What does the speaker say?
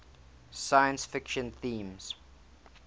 science fiction themes